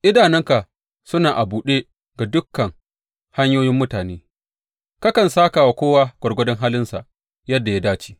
Idanunka suna a buɗe ga dukan hanyoyin mutane; kakan sāka wa kowa gwargwadon halinsa yadda ya dace.